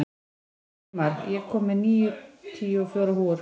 Sveinmar, ég kom með níutíu og fjórar húfur!